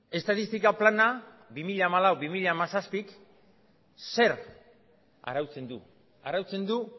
estatistika plana k bi mila hamalau bi mila hamazazpi zer arautzen du arautzen du